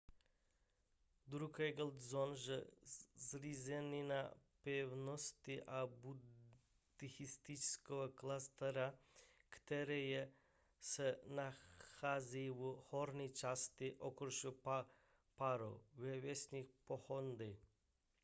drukgyal dzong je zřícenina pevnosti a buddhistického kláštera která se nachází v horní části okresu paro ve vesnici phondey